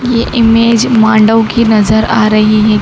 ये इमेज मांडव की नजर आ रही है।